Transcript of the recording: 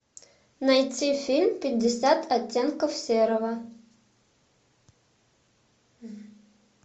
найти фильм пятьдесят оттенков серого